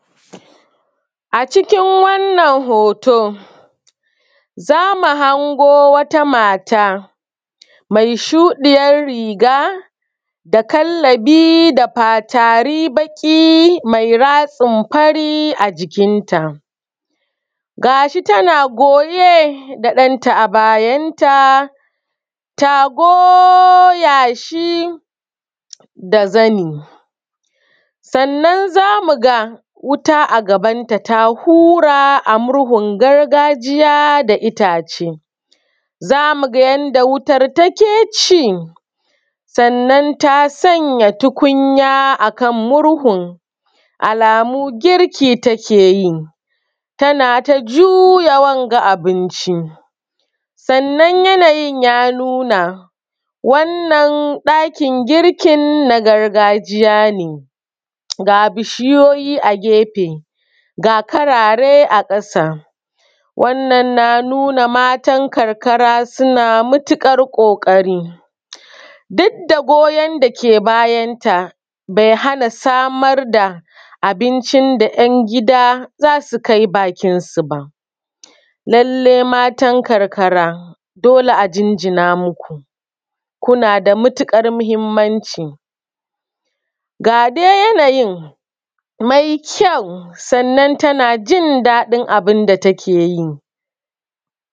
A cikin wannan hoto za mu hango wata mata mai shuɗiyar riga da kallabi da fatari mai ratsin fari a jikinta ga shi tana goye da ɗanta a bayanta ta goya shi da zani. Sannan za mu ga wuta a gabanta ta hura da murhun gargajiya da ita ce za mu ga yadda wutar take ci. Sannan ta sanya tukunya a kan murhun alamu girki take yi tana ta juya wanga abinci sannan yanayin ya nuna wannan ɗakin girkin na gargajiya ne ga bishiyoyi a gefe ga karare a ƙasa. Wannan na nuna matan karkara suna matuƙar ƙoƙari duk da goyan da ke bayanta bai hana samar da abinci da yan gida za su kai bakinsu ba, lallai matan karkara dole a jinjina muku kuna da matuƙar mahimmanci a dai ga dai yanayin mai ƙyau kuma tana jin dadin abin da take yi.